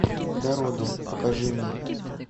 дороги покажи мне